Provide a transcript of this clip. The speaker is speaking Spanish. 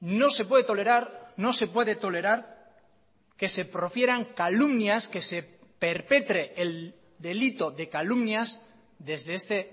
no se puede tolerar no se puede tolerar que se profieran calumnias que se perpetre el delito de calumnias desde este